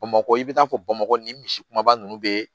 Bamakɔ i bɛ taa fɔ bamakɔ nin misi kumaba ninnu bɛ